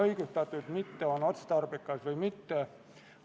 Lugupeetud ettekandja, teile küsimusi ei ole.